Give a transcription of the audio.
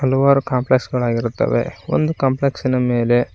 ಹಲವಾರು ಕಾಂಪ್ಲೆಕ್ಸ್ ಗಳಾಗಿರುತ್ತವೆ ಒಂದು ಕಾಂಪ್ಲೆಕ್ಸ್ ಇನ ಮೇಲೆ--